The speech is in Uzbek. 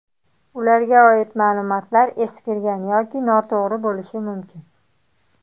Ularga oid ma’lumotlar eskirgan yoki noto‘g‘ri bo‘lishi mumkin.